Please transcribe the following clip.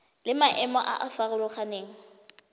le maemo a a farologaneng